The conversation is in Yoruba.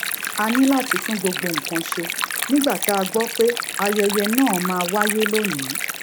a ní láti tún gbogbo nǹkan ṣe nígbà tá a gbó pé ayẹyẹ náà máa wáyé lónìí